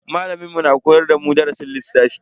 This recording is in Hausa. Malamin mu na koyar da mu darasin lissafi.